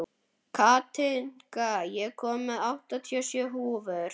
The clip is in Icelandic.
Katinka, ég kom með áttatíu og sjö húfur!